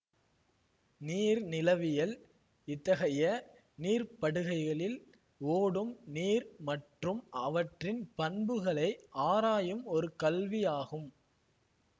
நீர்நிலவியல் இத்தகைய நீர்ப்படுகைகளில் ஓடும் நீர் மற்றும் அவற்றின் பண்புகளை ஆராயும் ஒரு கல்வியாகும்